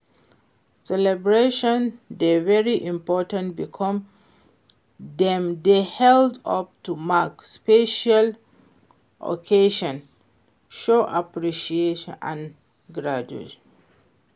celebrations dey very important because dem dey help us to mark special occasions, show appreciation and gratitude.